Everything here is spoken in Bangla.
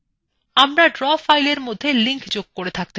আমরা draw file মধ্যে links যোগ করে থাকতে পারি